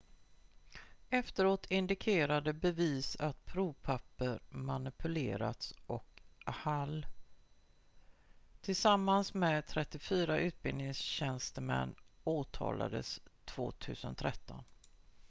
efteråt indikerade bevis att provpapper manipulerats och hall tillsammans med 34 utbildningstjänstemän åtalades 2013